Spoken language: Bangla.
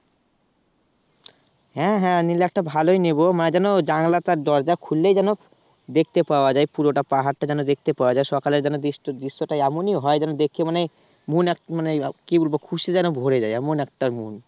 হ্যাঁ হ্যাঁ নিলে একটা ভালোই নেবো, মানে যেন জানলাটা দরজা খুললেই যেন দেখতে পাওয়া যায় পুরোটা পাহাড়টা যেন দেখতে পাওয়া যায় সকালে যেন দৃশ্যটা এমনই হয় যেন দেখে মানে মন একটা মানে কি বলবো খুঁজতে যেন ভরে যায় এমন একটা মন।